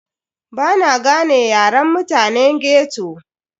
Bana gane yaren mutane ghetto.